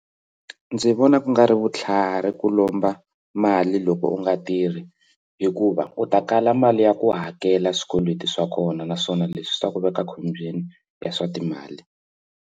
Ndzi vona ku nga ri vutlhari ku lomba mali loko u nga tirhi hikuva u ta kala mali ya ku hakela swikweleti swa kona naswona leswi swi ta ku veka a khombyeni ya swa timali.